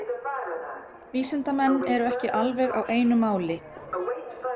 Vísindamenn eru ekki alveg á einu máli